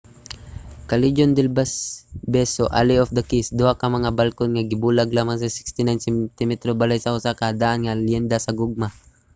callejon del beso alley of the kiss. duha ka mga balkon nga gibulag lamang sa 69 sentimetro ang balay sa usa ka daan nga leyenda sa gugma